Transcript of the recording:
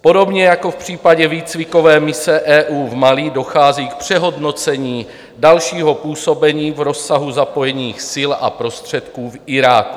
Podobně jako v případě výcvikové mise EU v Mali dochází k přehodnocení dalšího působení v rozsahu zapojených sil a prostředků v Iráku.